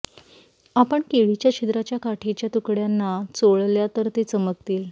आपण केळीच्या छिद्राच्या काठीच्या तुकड्यांना चोळल्या तर ते चमकतील